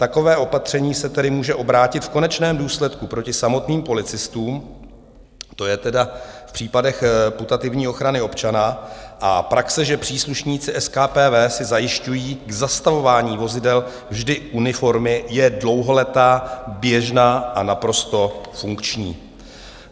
Takové opatření se tedy může obrátit v konečném důsledku proti samotným policistům, to je tedy v případech putativní ochrany občana, a praxe, že příslušníci SKPV si zajišťují k zastavování vozidel vždy uniformy, je dlouholetá, běžná a naprosto funkční.